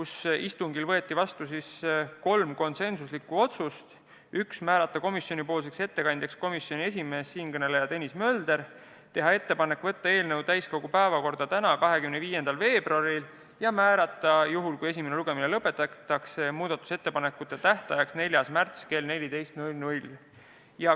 Sellel istungil võeti vastu kolm konsensuslikku otsust: määrata komisjonipoolseks ettekandjaks komisjoni esimees Tõnis Mölder, teha ettepanek võtta eelnõu täiskogu päevakorda tänaseks, 25. veebruariks ning määrata juhul, kui esimene lugemine lõpetatakse, muudatusettepanekute tähtajaks 4. märts kell 14.